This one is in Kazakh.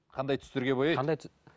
қандай түстерге бояйды